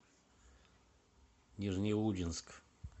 нижнеудинск